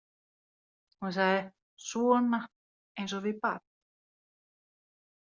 Hún sagði: Svona, eins og við barn.